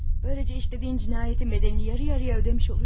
Böylece işlediğin cinayetin bedelini yarı yarıya ödemiş olacaktın.